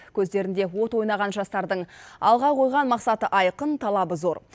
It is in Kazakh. көздерінде от ойнаған жастардың алға қойған мақсаты айқын талабы зор